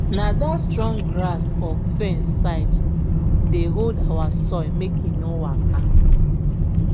na dat strong grass for fence side dey hold our soil make e no waka